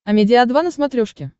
амедиа два на смотрешке